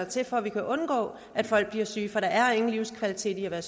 til for vi kan undgå at folk bliver syge for der er ingen livskvalitet i at